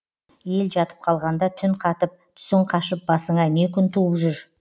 ел жатып қалғанда түн қатып түсің қашып басыңа не күн туып жүр